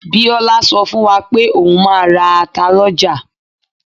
Biola sọ fún wa pe oun máa ra ata lọ́jà.